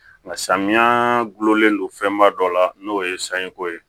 Nka samiya gulonlen don fɛnba dɔ la n'o ye sanko ye